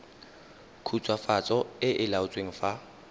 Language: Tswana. khutswafatso e e laotsweng fa